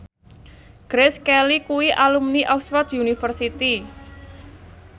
Grace Kelly kuwi alumni Oxford university